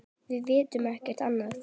Við vitum ekkert annað.